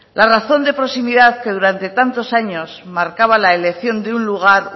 la razón de proximidad que durante tantos años marcaba la elección de un lugar